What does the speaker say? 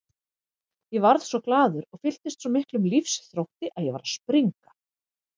Ég varð svo glaður og fylltist svo miklum lífsþrótti að ég var að springa.